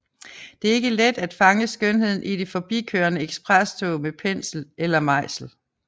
Det er ikke let at fange skønheden i det forbikørende eksprestog med pensel eller mejsel